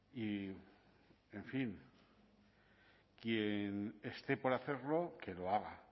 y en fin quién esté por hacerlo que lo haga